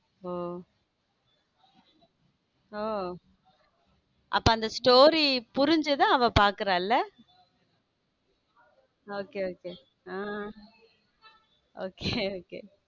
ஓஹ oh அப்போ அந்த story புரிஞ்சுதா அவ பாக்குற இல்ல okay okay hmm okay okay